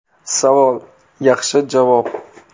Savol: Yaxshi javob.